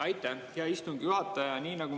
Aitäh, hea istungi juhataja!